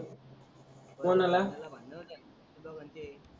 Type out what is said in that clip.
दो घंटे